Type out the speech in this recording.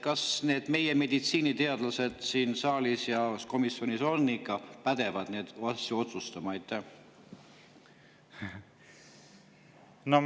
Kas need meie meditsiiniteadlased siin saalis ja komisjonis on ikka pädevad neid asju otsustama?